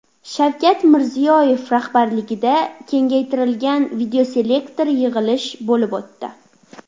Shavkat Mirziyoyev rahbarligida kengaytirilgan videoselektor yig‘ilish bo‘lib o‘tdi.